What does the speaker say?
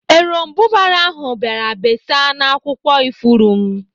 Eròmbụbara ahụ bịara besaa n'akwụkwọ ifuru m.